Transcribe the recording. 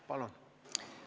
Palun!